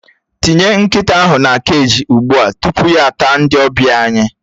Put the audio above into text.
Tinye nkịta ahụ na keji ugbu a tupu ya ata ndị ọbịa anyị!